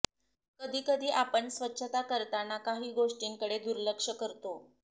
कधी कधी आपण स्वच्छता करताना काही गोष्टींकडे दुर्लक्ष्य करतो